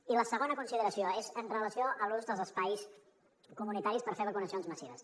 i la segona consideració és en relació amb l’ús dels espais comunitaris per fer vacunacions massives